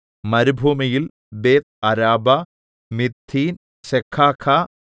മരുഭൂമിയിൽ ബേത്ത്അരാബ മിദ്ദീൻ സെഖാഖ